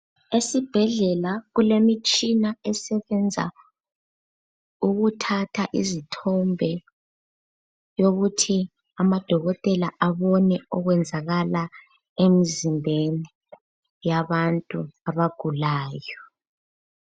Esibhedlela kulemitshina esebenza ukuthatha izithombe yokuthi amadokotela abone okwenzakala emzimbeni yabantu abagulayo.